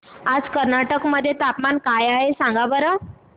आज कर्नाटक मध्ये तापमान काय आहे सांगा बरं